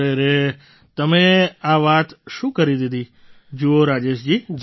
અરે રે રે તમે આ વાત શું કરી દીધી જુઓ રાજેશજી